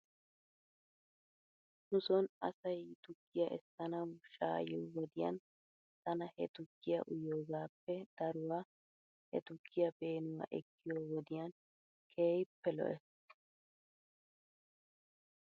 Nu son asay tukkiyaa esananaw shaa'iyoo wodiyan tana he tukkiyaa uyiyoogaappe daruwaa he tukkiyaa peenuwaa ekkiyoo wodiyan keehippe lo'ees .